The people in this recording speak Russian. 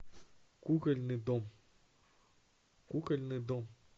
кукольный дом кукольный дом